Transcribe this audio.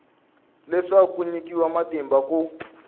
leswaku ku nyikiwa matimba ku